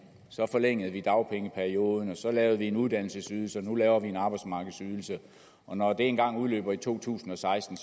forlængede vi dagpengeperioden så lavede vi en uddannelsesydelse og nu laver vi en arbejdsmarkedsydelse og når det engang udløber i to tusind og seksten